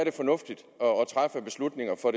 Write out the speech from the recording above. er fornuftigt